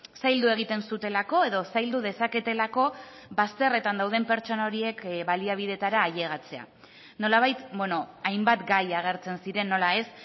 zaildu egiten zutelako edo zaildu dezaketelako bazterretan dauden pertsona horiek baliabideetara ailegatzea nolabait hainbat gai agertzen ziren nola ez